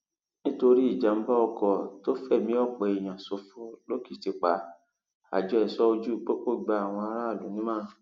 nítorí ìjàmbá ọkọ tó fẹmí ọpọ èèyàn ṣòfò lòkìtìpá àjọ ẹṣọ ojú pópó gba àwọn aráàlú nímọràn